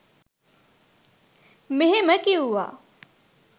මෙහෙම කිවුවා.